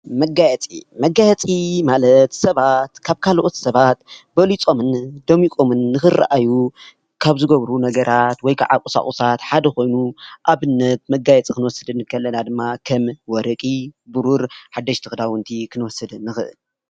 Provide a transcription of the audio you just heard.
መጋየፂ፦ መጋየፂ ማለት ሰባት ካበ ካልኦት ሰባት በሊፆምን ደሚቆምን ንክረኣዩ ካብ ዝገብርዎ ነገራት ወይክዓ ቁሳቁሳት ሓደ ኮይኑ አብነት መጋየፂ ክንወስድ ከለና ድማ ከም ወርቂ፣ ብሩር፣ ሓደሽቲ ክዳውንቲ ክንወስድ ንክእል፡፡